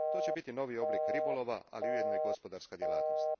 To će biti novi oblik ribolova, ali ujedno i gospodarska djelatnost.